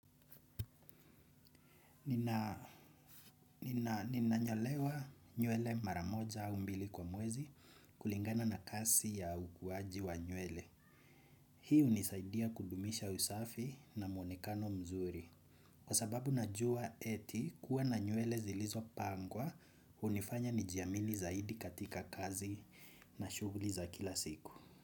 Ninanyolewa nywele maramoja au mbili kwa mwezi kulingana na kasi ya ukuwaji wa nywele. Hiu hunisaidia kudumisha usafi na muonekano mzuri. Kwa sababu najua eti kuwa na nywele zilizo pangwa, hunifanya nijiamini zaidi katika kazi na shuguli za kila siku.